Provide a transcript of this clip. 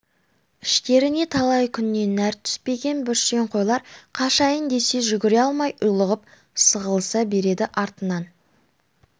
іштеріне талай күннен нәр түспеген бүрсең қойлар қашайын десе де жүгіре алмай ұйлығып сығылыса береді артынан